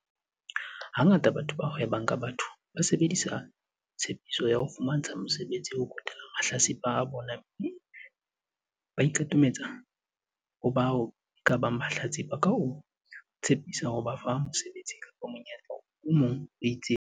Ha ngata batho ba hwebang ka batho ba sebedisa tshepiso ya ho fumantsha mosebetsi ho kwetela mahlatsipa a bona mme ba ikatametsa ho bao ekabang mahlatsipa ka ho tshepisa ho ba fa mosebetsi kapa monyetla o mong o itseng.